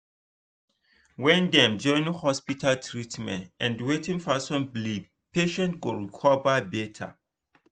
when dem join hospital treatment and wetin person believe patient go recover better.